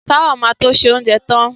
Táwà ma to ṣe oúnjẹ tán